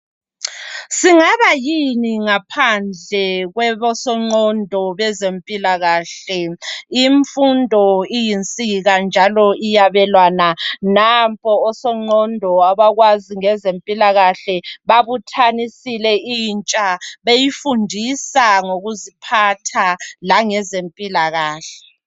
Singabayini ngaphandle kwebesoqondo bezempilakahle. Imfundo iyinsika njalo iyabelwana. Nampo osoqondo abakwazi ngezempilakahle babuthanisile intsha beyifundisa ngokuziphatha la ngezempilakahle.